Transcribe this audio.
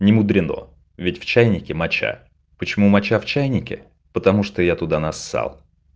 немудрено ведь в чайнике моча почему моча в чайнике потому что я туда нассал